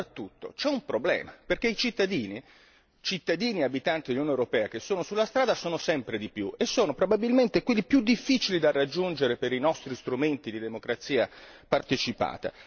Ma soprattutto c'è un problema perché i cittadini e gli abitanti dell'Unione europea che sono sulla strada sono sempre di più e sono probabilmente quelli più difficili da raggiungere per i nostri strumenti di democrazia partecipata.